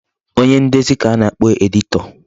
Onye ndezi ka a na-akpọ editor.